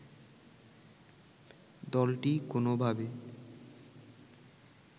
দলটি কোনোভাবে